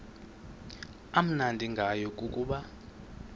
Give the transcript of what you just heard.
amnandi ngayo kukuba